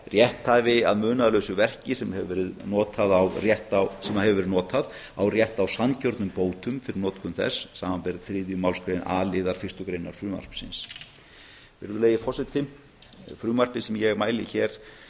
rétthafi að munaðarlausu verki sem hefur verið notað á rétt á sanngjörnum bótum fyrir notkun þess samanber þriðju málsgrein a liðar fyrstu greinar frumvarpsins virðulegi forseti frumvarpið sem ég mæli hér